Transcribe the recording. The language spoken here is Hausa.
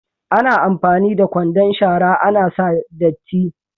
Ana amfani da kwandon shara ana sa datti.